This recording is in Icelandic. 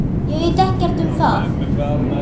Ég veit ekkert um það.